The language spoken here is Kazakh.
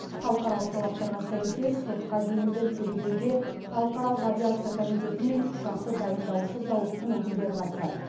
халықаралық талаптарға сәйкес сотқа дейінгі тергеуге халықаралық авиация комитеті мен ұшақты дайындаушы зауыттың өкілдері қатысады